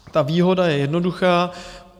Ta výhoda je jednoduchá.